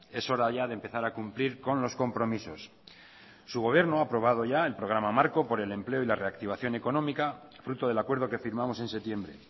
es hora ya de empezar a cumplir con los compromisos su gobierno ha aprobado ya el programa marco por el empleo y la reactivación económica fruto del acuerdo que firmamos en septiembre